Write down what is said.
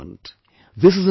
This is empowerment